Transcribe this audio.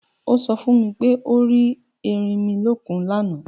O so fún mi pé o rí ẹrinmilókun lána.